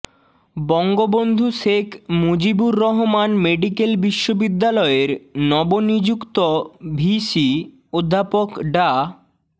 Bangabandhu Sheikh Mujibur Rahman medical বিশ্ববিদ্যালয়ের নব নিযুক্ত ভিসি অধ্যাপক ডা